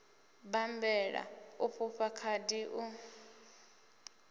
bammbela u fhufha khadi u